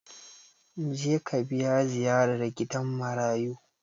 Mu je ka biya ziyarar gidan marayu!